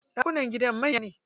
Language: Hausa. Ɗakunan gidan manya ne.